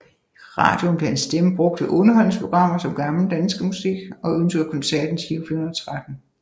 I radioen blev hans stemme brugt ved underholdningsprogrammer som Gammel Dansemusik og Ønskekoncerten Giro 413